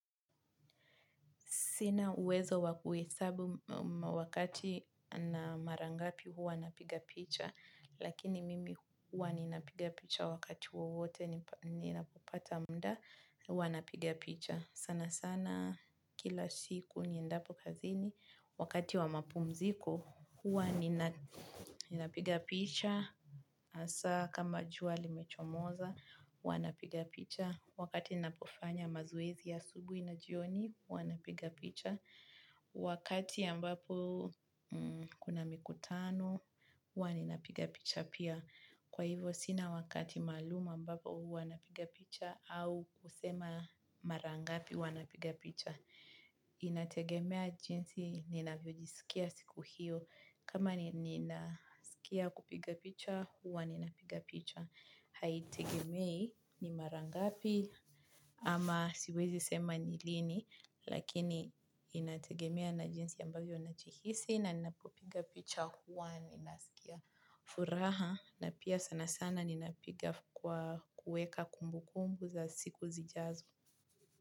Sina uwezo wakuhesabu wakati na marangapi huwa napiga picha. Lakini mimi huwa ninapiga picha wakati wowote ninapopata muda, huwa napiga picha. Sana sana, kila siku niendapo kazini. Wakati wa mapumziko, huwa nina ninapiga picha. Hasa kama jua limechomoza, huwa napiga picha. Wakati ninapofanya mazoezi ya asubuhi na jioni, hua napiga picha. Wakati ambapo, kuna mikutano, hua ninapiga picha pia. Kwa hivyo sina wakati maalum ambapo hua napiga picha au kusema mara ngapi hua napiga picha. Inategemea jinsi ninavyojisikia siku hiyo. Kama nina sikia kupiga picha, hua ninapiga picha. Haitegemei ni marangapi ama siwezi sema ni lini lakini inategemea na jinsi ambavyo najihisi na ninapopiga picha huwa nasikia furaha na pia sana sana ninapiga kwa kueka kumbukumbu za siku zijazo.